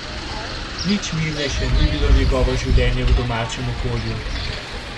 Nič mirnejše ni bilo njegovo življenje v domačem okolju.